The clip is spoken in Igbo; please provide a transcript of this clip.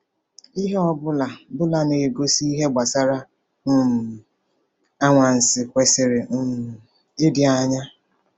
Ihe ọ bụla bụla na-egosi ihe gbasara um anwansi kwesịrị um ịdị anya.